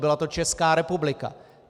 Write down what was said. Byla to Česká republika.